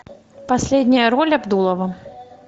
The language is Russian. последняя роль абдулова